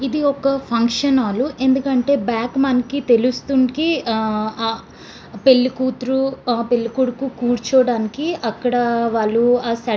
ఇది ఒక function hall . ఎందుకంటే బ్యాక్ మనకి తెలుస్తుంది. ఆహ్ పెళ్లి కూతురు పెళ్లి కొడుకు కూర్చోటానికి అక్కడ వాళ్ళు ఆహ్ సెట్ --